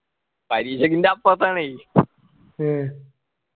പരീക്ഷക്ക് ൻ്റെ അപ്പർത്താണെ